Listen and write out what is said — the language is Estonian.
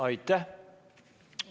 Aitäh!